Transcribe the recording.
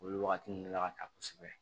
Olu wagati ninnu la ka taa kosɛbɛ